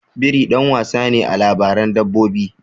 Biri ɗan wasa ne a labaran dabbobi.